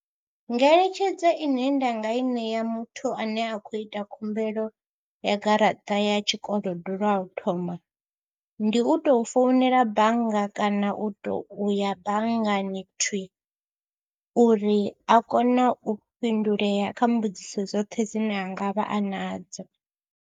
Ngeletshedzo ine nda nga i ṋea muthu ane a khou ita khumbelo ya garaṱa ya tshikolodo lwa u thoma, ndi u tou founela bannga kana u tou ya banngani thwii, uri a kone u fhindulea kha mbudziso dzoṱhe dzine a nga vha a nadzo.